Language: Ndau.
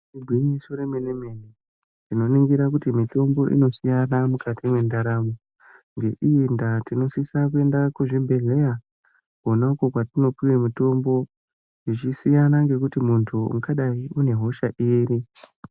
Igwinyiso remenemene tinoningira kuti mitombo inosiyana mukati mendaramo ngeii ndaa tinosisa kuenda kuchibhehlera konako kwatinopiwa mitombo zvichisiyana ngekuti mundu ungadai une hosha iri .